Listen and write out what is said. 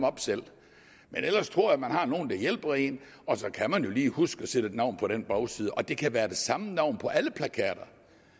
op selv men ellers tror jeg at man har nogle der hjælper en og så kan man jo lige huske at sætte et navn på den bagside og det kan være det samme navn på alle plakater